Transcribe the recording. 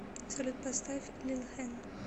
салют поставь лил хэн